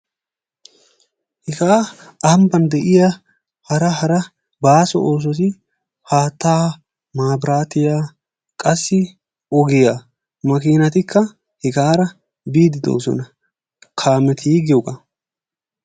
Hegaa aaho gomppan de'iya hara hara baaso oosoti haattaa maabiraatiya qassi ogiya makiinatikka hegaara biidi de'oosona, kaameti giyoogaa.